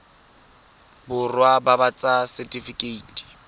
borwa ba ba ts setifikeite